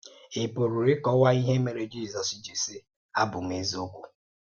Ị̀ pùrù íkọ́wá íhè mèré Jízọ́s ji sị: ‘Ábụ̀ m èzíòkwú’?